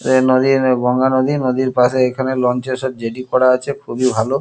এ নদী গঙ্গা নদী .নদীর পাশে লঞ্চ -এ সব জেটি করা আছে খুবই ভালো।